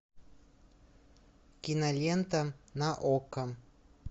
кинолента на окко